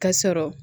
Ka sɔrɔ